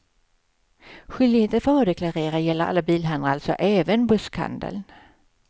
Skyldigheten att varudeklarera gäller alla bilhandlare, alltså även buskhandeln.